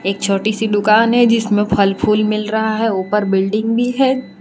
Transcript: छोटी सी दुकान है जिसमें फल फूल मिल रहा है ऊपर बिल्डिंग भी है।